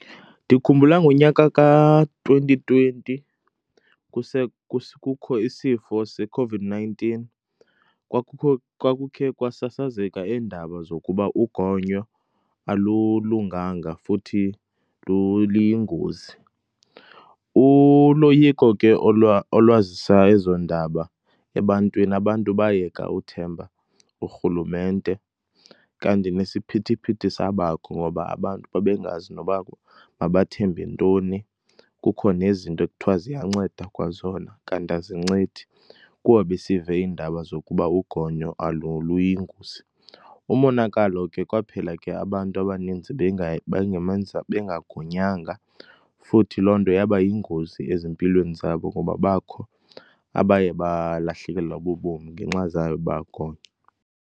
Ndikhumbula ngonyaka ka-twenty twenty, kukho isifo seCOVID-nineteen kwakukho, kwakukhe kwasasazeka iindaba zokuba ugonyo alulunganga futhi liyingozi. Uloyiko ke olwazisa ezo ndaba ebantwini, abantu bayeka uthemba urhulumente, kanti nesiphithiphithi sabakho ngoba abantu bebengazi noba mabathembe ntoni, kukho nezinto ekuthiwa ziyanceda kwa zona, kanti azincedi, kuba besive iindaba zokuba ugonyo luyingozi. Umonakalo ke, kwaphela ke abantu abaninzi bengamenza, bengagonyanga futhi loo nto yaba yingozi ezimpilweni zabo ngoba bakho abaye balahlekelwa bubomi ngenxa zange bagonye.